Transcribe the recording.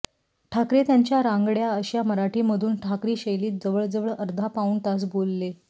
ठाकरे त्यांच्या रांगाड्या अश्या मराठी मधून ठाकरी शैलीत जवळ जवळ अर्धा पाऊण तास बोलले